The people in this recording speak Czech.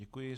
Děkuji.